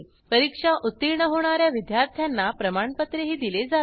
परीक्षा उत्तीर्ण होणा या विद्यार्थ्यांना प्रमाणपत्रही दिले जाते